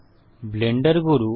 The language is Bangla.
ব্লেন্ডার গুরু